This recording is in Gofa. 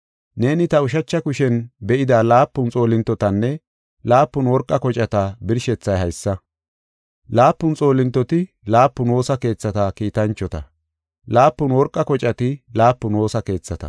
Neeni ta ushacha kushen be7ida laapun xoolintotanne laapun worqa kocata birshethay haysa: Laapun xoolintoti laapun woosa keethata kiitanchota; laapun worqa kocati laapun woosa keethata.”